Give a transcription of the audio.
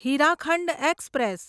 Hirakhand express